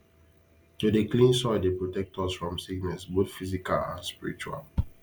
to dey clean soil dey protect us from sickness both physical and spiritual